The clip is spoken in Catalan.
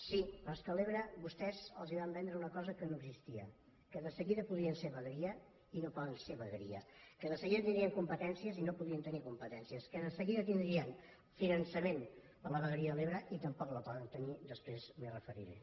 sí però és que a l’ebre vostès els van vendre una cosa que no existia que de seguida podrien ser vegueria i no poden ser vegueria que de seguida tindrien competències i no podien tenir competències que de seguida tindrien finançament per a la vegueria de l’ebre i tampoc el poden tenir després m’hi referiré